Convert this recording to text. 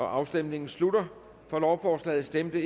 afstemningen slutter for lovforslaget stemte